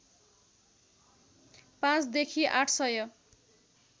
पाँचदेखि आठ सय